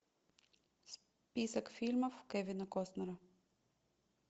список фильмов кевина костнера